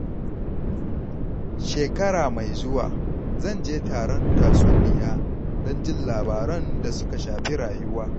Shekara mai zuwa, zan je taron tatsuniya don jin labaran da suka shafi rayuwa.